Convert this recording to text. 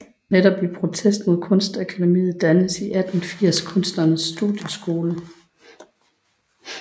Netop i protest mod Kunstakademiet dannedes i 1880 Kunsternes Studieskole